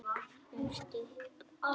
með skip sín